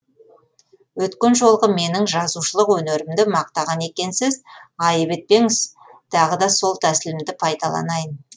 өткен жолғы менің жазушылық өнерімді мақтаған екенсіз айып етпесеңіз тағы да сол тәсілімді пайдаланайын